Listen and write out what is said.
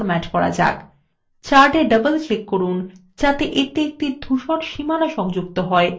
chart a double click করুন যাতে এতে একটি ধূসর সীমানা সংযুক্ত হয়